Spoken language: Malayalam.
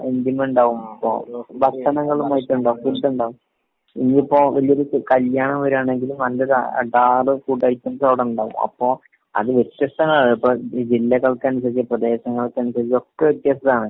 എന്തെന്നെ ഇണ്ടാവും? ആഹ് ഭക്ഷണങ്ങളായിട്ട് ഇണ്ടാവും. ഫുഡ് ഉണ്ടാവും. ഇനിയിപ്പോ വലിയ്യൊരു കല്യാണം വരാണെങ്കിലും നല്ലൊരു അടാറ് ഫുഡ് ഐറ്റംസ് അവിടെ ഉണ്ടാവും. അപ്പൊ അത് വ്യത്യസ്തമാണ്. ഇപ്പൊ ഈ ജില്ലകൾക്കനുസരിച് പ്രദേശങ്ങൾക്കനുസരിച്ഗ് ഒക്കെ വ്യത്യസ്ത്താണ്.